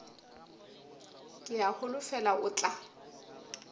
ke a holofela o tla